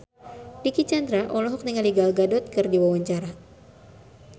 Dicky Chandra olohok ningali Gal Gadot keur diwawancara